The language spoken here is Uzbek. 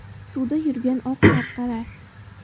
Suvda yurgan oq qarqara.